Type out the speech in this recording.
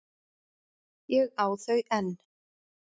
Ég á þau enn.